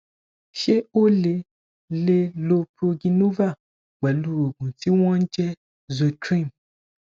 ṣé o lè lè lo progynova pẹlú oògùn tí wọn ń jẹ zotreem